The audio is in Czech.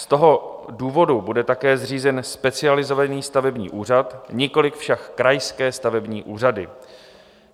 Z toho důvodu bude také zřízen specializovaný stavební úřad, nikoliv však krajské stavební úřady.